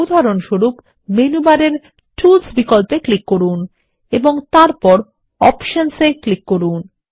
উদাহরণস্বরূপ মেনু বারে টুলস বিকল্পে ক্লিক করুন এবং তারপর অপশনস এ ক্লিক করুন